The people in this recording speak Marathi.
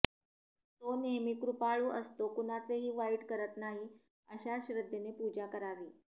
तो नेहमी कृपाळू असतो कुणाचेही वाईट करत नाही अशा श्रद्धेने पूजा करावी